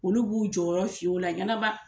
Olu b'u jɔyɔrɔ fin o la ɲɛnama.